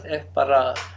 bara